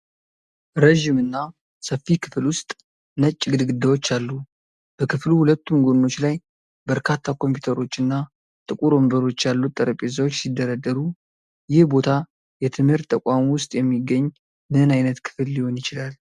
ረዥም እና ሰፊ ክፍል ውስጥ ነጭ ግድግዳዎች አሉ። በክፍሉ ሁለቱም ጎኖች ላይ በርካታ ኮምፒውተሮች እና ጥቁር ወንበሮች ያሉት ጠረጴዛዎች ሲደረደሩ። ይህ ቦታ የትምህርት ተቋም ውስጥ የሚገኝ ምን ዓይነት ክፍል ሊሆን ይችላል?